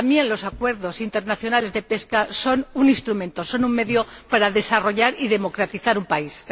También los acuerdos internacionales de pesca son un instrumento, son un medio para desarrollar y democratizar un país.